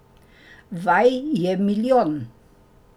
Vaj je milijon.